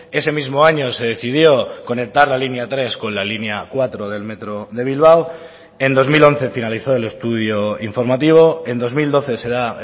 ese mismo año se decidió conectar la línea tres con la línea cuatro del metro de bilbao en dos mil once finalizó el estudio informativo en dos mil doce se da